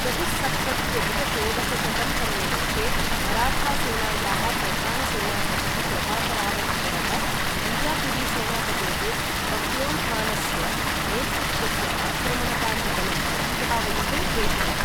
चतुःसप्तत्यधिक षोडशशतं तमे वर्षे, मराठासेनायाः प्रधानसेनापतिः प्रतापराव् गुजरः बिजापुरी सेनापतेः बह्लोल् खानस्य नेतृत्वस्य आक्रमणकारीबलं प्रतिधावयितुं प्रेषितः।